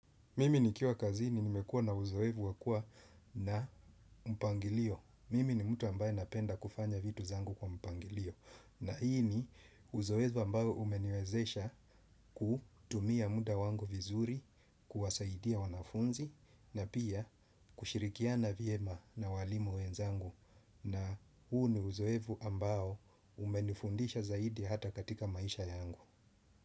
Mimi nikiwa kazini, nimekua na uzoefu wa kuwa na mpangilio. Mimi ni mtu ambaye napenda kufanya vitu zangu kwa mpangilio. Na hii ni uzoefu ambayo umeniwezesha kutumia muda wangu vizuri, kuwasaidia wanafunzi, na pia kushirikiana vyema na walimu wenzangu. Na huu ni uzoefu ambao umenifundisha zaidi hata katika maisha yangu.